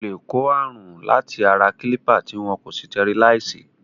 O lè kó ààrùn láti ara kílípà tí wọn kò sitẹriláìsì.